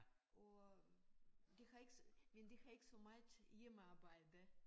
Og de har ikke men de har ikke så meget hjemmearbejde